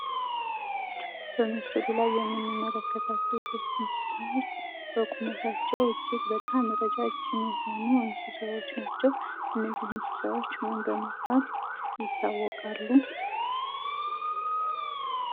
በምስሉ ላይ የምንመለከታቸው ሶስት እንስሳዎች በቁመቻቸው እጅግ በጣም ረጃጅም የሆኑ እንስሳዎች ናቸው። እነዚህ እንስሳዎች ምን በመባል ይታወቃሉ።